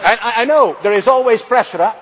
this. I know there is always pressure.